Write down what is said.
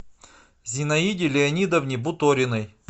зинаиде леонидовне буториной